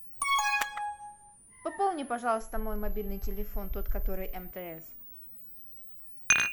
пополни пожалуйста мой мобильный телефон тот который мтс